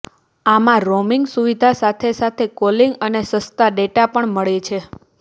આમાં રોમિંગ સુવિધા સાથે સાથે કોલિંગ અને સસ્તા ડેટા પણ મળે છે